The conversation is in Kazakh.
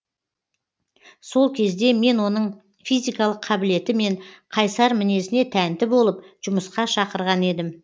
сол кезде мен оның физикалық қабілеті мен қайсар мінезіне тәнті болып жұмысқа шақырған едім